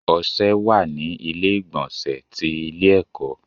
Ọṣẹ wà ní ilé ìgbọ̀nsẹ̀ ti ilé ẹ̀kọ́.